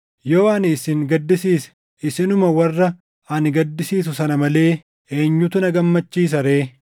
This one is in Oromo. Yoo ani isin gaddisiise, isinuma warra ani gaddisiisu sana malee eenyutu na gammachiisa ree?